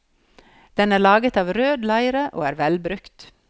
Den er laget av rød leire og er velbrukt.